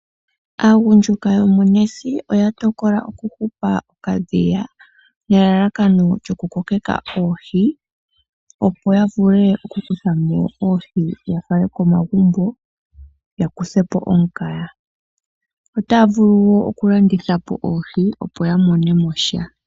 Aagundjuka yomOnesi oya tokola okuhupa okadhiya nelalakano lyokukokeka oohi, opo ya vule okukutha mo oohi ya fale komagumbo ya kuthe po omukaga. Otaa vulu wo okulanditha po oohi, opo ya mone mo sha.